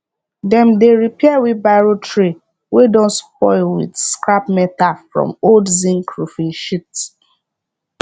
dem dey repair wheelbarrow tray wey don spoil with scrap meta from old zinc roofing sheet